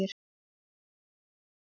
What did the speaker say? Það var þá og nú er nú.